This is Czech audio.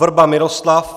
Vrba Miroslav